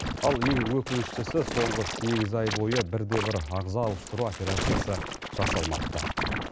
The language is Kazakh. ал ең өкініштісі соңғы сегіз ай бойы бір де бір ағза ауыстыру операциясы жасалмапты